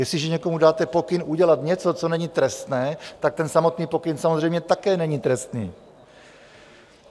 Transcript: Jestliže někomu dáte pokyn udělat něco, co není trestné, tak ten samotný pokyn samozřejmě také není trestný.